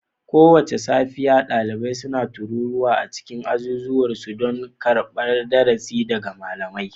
Kowace safiya, ɗalibai suna taruwa a cikin azuzuwan su, don karɓar darasi daga malamai